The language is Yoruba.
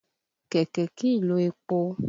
Kẹ̀kẹ́ kìí lo epo.